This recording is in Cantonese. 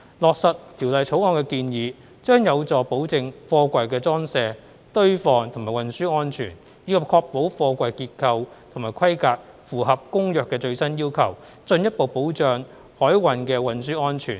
落實《條例草案》的建議，將有助保證貨櫃的裝卸、堆放和運輸安全，以及確保貨櫃結構和規格符合《公約》的最新要求，進一步保障海運的運輸安全。